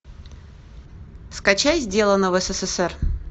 скачай сделано в ссср